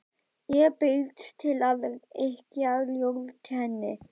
Ég bauðst til að yrkja ljóð til hennar.